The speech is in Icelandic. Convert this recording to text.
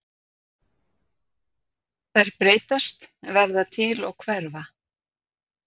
Þær breytast, verða til og hverfa.